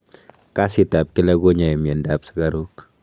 kasit ap kila konyai mianda ap sugaruk